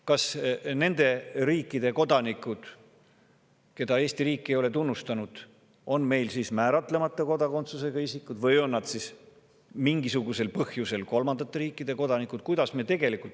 Kas nende riikide kodanikud, keda Eesti riik ei ole tunnustanud, on meil määratlemata kodakondsusega isikud või on nad mingisugusel põhjusel kolmandate riikide kodanikud?